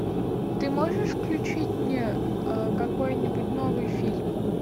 ты можешь включить мне какой нибудь новый фильм